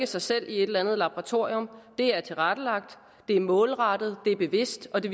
sig selv i et eller andet laboratorium det er tilrettelagt det er målrettet det er bevidst og det